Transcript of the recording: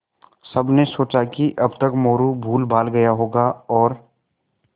सबने सोचा कि अब तक मोरू भूलभाल गया होगा और